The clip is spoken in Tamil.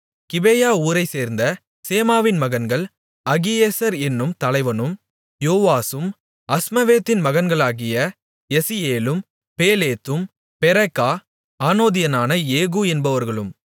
கிபேயா ஊரைச்சேர்ந்த சேமாவின் மகன்கள் அகியேசர் என்னும் தலைவனும் யோவாசும் அஸ்மாவேத்தின் மகன்களாகிய எசியேலும் பேலேத்தும் பெராக்கா ஆனதோத்தியனான ஏகூ என்பவர்களும்